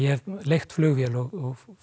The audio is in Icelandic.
leigt flugvél og